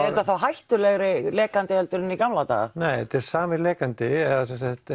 þetta þá hættulegri lekandi en í gamla daga nei þetta er sami lekandi eða